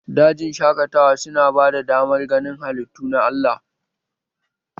Dajin shaƙatawa su na bada damar ganin halittu na Allah